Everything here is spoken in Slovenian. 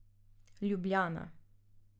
Ljubljana.